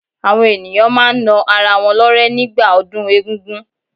Àwọn ènìyàn máa n na ara wọn lọ́rẹ́ ní gbà ọdún egún-gún